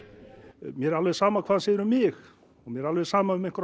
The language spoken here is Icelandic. mér er alveg sama hvað hann segir um mig og mér er alveg sama um einhverjar